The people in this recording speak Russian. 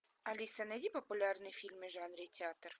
алиса найди популярные фильмы в жанре театр